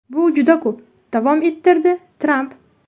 Bu juda ko‘p”, davom ettirdi Tramp.